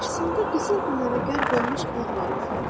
Qarşısında qızıl güllərə qərq olmuş bağ var idi.